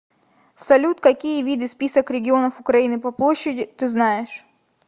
салют какие виды список регионов украины по площади ты знаешь